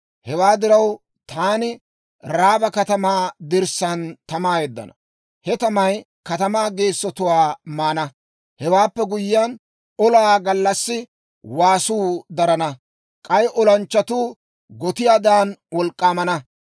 Hewaa diraw, taani Raaba katamaa dirssaan tamaa yeddana; he tamay katamaa geessotuwaa maana. Hewaappe guyyiyaan, olaa gallassi waasuu darana; k'ay olanchchatuu gotiyaadan wolk'k'aamana.